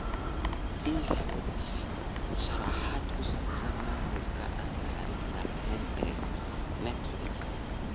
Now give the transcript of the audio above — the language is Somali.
ii hel sharaxaad ku saabsan maamulka aan naxariista lahayn ee netflix